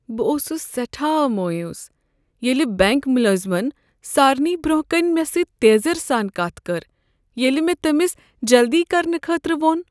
بہٕ اوسس سیٹھاہ مایوس ییلِہ بینک ملٲزمن سارنٕے برونٛہہ کنِہ مےٚ سۭتۍ تیزرٕ سان کتھ کٔر ییلِہ مےٚ تٔمس جلدی کرنہٕ خٲطرٕ ووٚن ۔